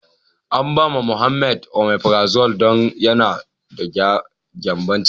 An ba ma Muhammed " omeprazole " don yana da gyanbon ciki.